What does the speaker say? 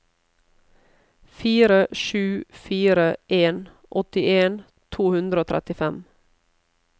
fire sju fire en åttien to hundre og trettifem